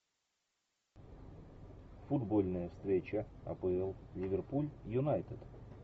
футбольная встреча апл ливерпуль юнайтед